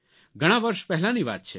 ઘણાં વર્ષ પહેલાની વાત છે